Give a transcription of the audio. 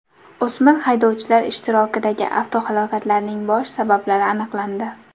O‘smir haydovchilar ishtirokidagi avtohalokatlarning bosh sabablari aniqlandi .